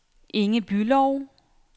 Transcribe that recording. Inge Bülow